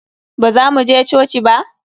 Baza mu je coci ba?